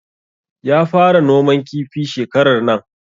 Ya fara noman kifi shekarar nan